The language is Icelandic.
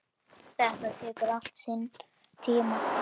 Þetta tekur allt sinn tíma.